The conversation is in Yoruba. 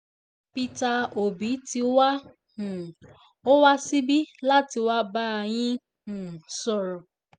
peter obi ti wá um ọ wá síbí láti wáá bá yín um sọ̀rọ̀